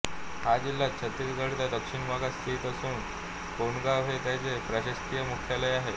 हा जिल्हा छत्तीसगढच्या दक्षिण भागात स्थित असून कोंडागांव हे त्याचे प्रशासकीय मुख्यालय आहे